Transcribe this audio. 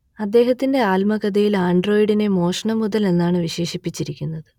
അദ്ദേഹത്തിന്റെ ആത്മകഥയിൽ ആൻഡ്രോയിഡിനെ മോഷണ മുതൽ എന്നാണ് വിശേഷിപ്പിച്ചിരിക്കുന്നത്